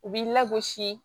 U b'i lagosi